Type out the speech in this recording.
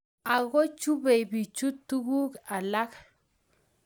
Ago chubei bichu tuguk alak